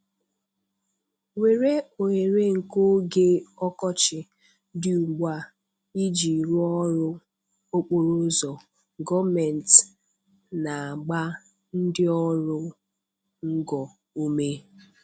WERE OHERE NKE OGE ỌKỌCHỊ DỊ UGBU A IJI RỤỌ ỌRỤ OKPORO ỤZỌ – GỌỌMENTỊ NA-AGBA NDỊ ỌRỤ NGO UME